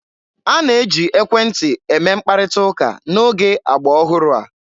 A na-eji ekwentị eme mkparịta ụka n'oge agba ọhụrụ a.